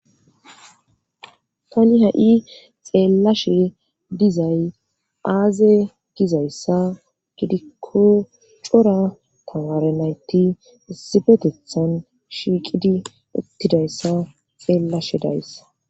Tani ha'i xeellashe dizay aaze gizayssa gidikko cora tamarenayti isibetethan shiiqidi uttidayssa xeellashe dayssa.